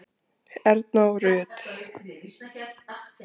Erna og Rut.